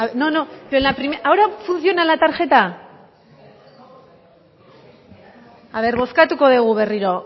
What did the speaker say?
ahora funciona la tarjeta bozkatuko dugu berriro